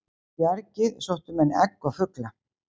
í bjargið sóttu menn egg og fugla